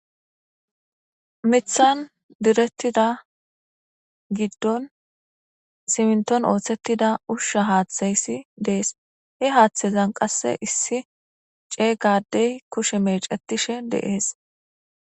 mithan direttida giddon siminton ooththettida ushsha haaththayssi dees he haaththezan qasse issi ceeygadey kushe mecetishe de'es